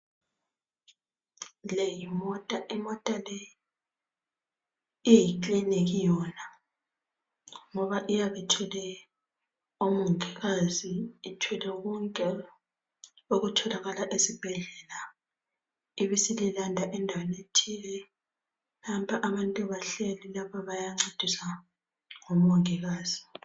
Le yimota imota leyi iyikliniki yona ngoba iyabe ithwele omongikazi ithwele ngokunjalo okutholakala ezibhedlela ibe isililanda endaweni ethile. Nampa abantu bahleli lapha bayancediswa ngomongikazi.